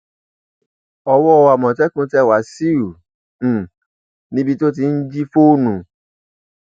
owó àmọtẹkùn tẹ wáṣíù um níbi tó ti ń jí fóònù